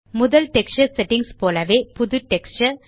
முதல் texture settings போலவே புது டெக்ஸ்சர்